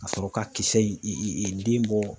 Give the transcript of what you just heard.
Ka sɔrɔ ka kisɛ in den bɔ.